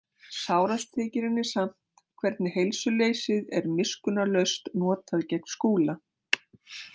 Sárast þykir henni samt hvernig heilsuleysið er miskunnarlaust notað gegn Skúla.